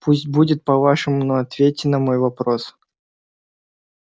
пусть будет по-вашему но ответьте на мой вопрос